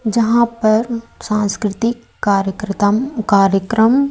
जहां पर सांस्कृतिक कार्यक्रतम कार्यक्रम--